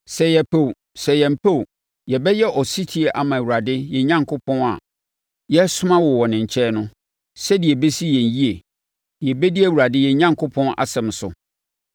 Sɛ yɛpɛ o, sɛ yɛmpɛ o, yɛbɛyɛ ɔsetie ama Awurade yɛn Onyankopɔn a yɛresoma wo wɔ ne nkyɛn no, sɛdeɛ ɛbɛsi yɛn yie, na yɛbɛdi Awurade yɛn Onyankopɔn asɛm so.”